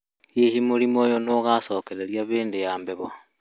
hĩhĩ mũrĩmũ ũyũ nĩogacokererĩa hĩndĩ ya heho?